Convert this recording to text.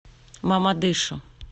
мамадышу